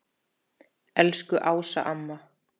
Elsku Ása amma.